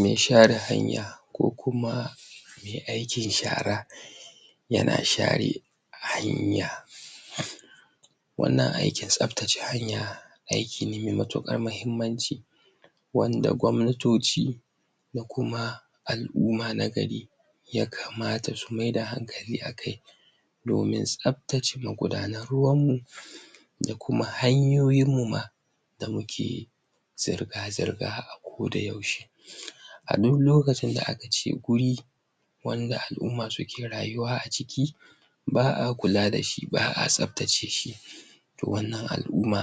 Me share hanya ko kuma me aikin shara yana share hanya wannan aikin tsabtace hanya aikin ne me matuƙar mahimmanci wanda gwamnatoci ko kuma al'umma na gari yakamata su maida hankali a kai domin tsabtace magudanar ruwan mu da kuma hanyoyin mu ma da muke zirga-zirga a kodayaushe a duk lokacin da aka ce guri wanda al'umma suke rayuwa a ciki ba'a kula da shi, ba'a tsabtace shi wannan al'umma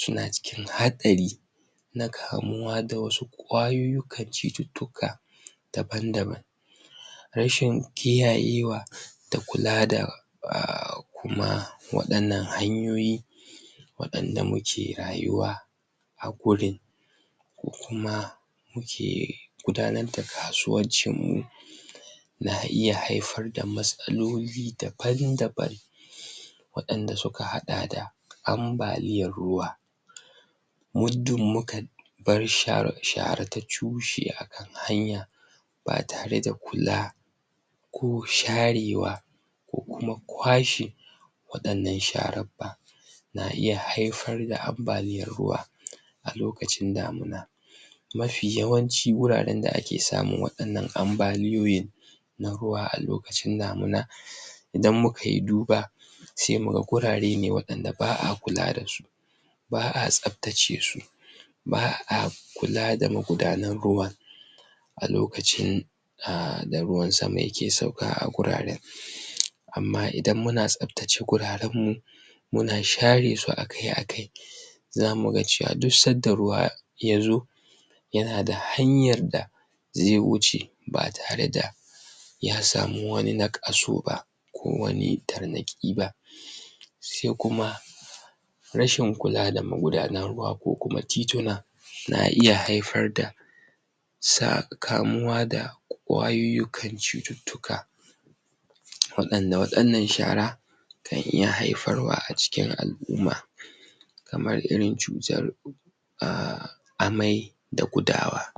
suna cikin haɗari na kamuwa da wasu ƙwayuyyukan cututtuka daban-daban rashin kiyaye wa da kula da ah, kuma waɗannan hanyoyi waɗanda muke rayuwa a gurin ko kuma muke gudanar da kasuwancin mu na iya haifar da matsaloli daban-daban waɗanda suka haɗa da ambaliyar ruwa muddin muka bar share-share ta cushe a kan hanya ba tare da kula ko sharewa ko kuma kwashe waɗannan sharan ba na iya haifar da ambaliyar ruwa a lokacin damina mafi yawanci wuraren da ake samun waɗannan ambaliyoyi na ruwa a lokacin damina idan muka yi duba se muga gurare ne waɗanda ba'a kula da su ba'a tsabtace su ba'a kula da magudanar ruwa a lokacin ah da ruwan sama yake sauka a guraren amma idan muna tsabtace guraren mu muna share su akai-akai zamu ga cewa duk sanda ruwa yazo yana da hanyar da ze wuce ba tare da ya samu wani naƙasu ba, ko wani tarnaƙi ba se kuma rashin kula da magudanar ruwa ko kuma tituna na iya haifar da sa kamuwa da ƙwayoyikan cututtuka waɗanda waɗannan shara kan iya haifarwa a cikin al'umma kamar irin cutar ah, amai da gudawa.